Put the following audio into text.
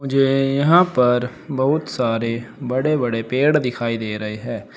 मुझे यहां पर बहुत सारे बड़े बड़े पेड़ दिखाई दे रहे हैं।